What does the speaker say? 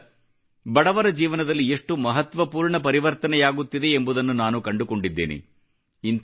ಇದರಿಂದ ಬಡವರ ಜೀವನದಲ್ಲಿ ಎಷ್ಟು ಮಹತ್ವಪೂರ್ಣ ಪರಿವರ್ತನೆಯಾಗುತ್ತಿದೆ ಎಂಬುದನ್ನು ನಾನು ಕಂಡುಕೊಂಡಿದ್ದೇನೆ